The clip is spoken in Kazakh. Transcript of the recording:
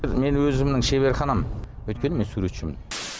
менің өзімнің шеберханам өйткені мен суретшімін